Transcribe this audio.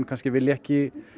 kannski vill ekki